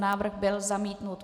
Návrh byl zamítnut.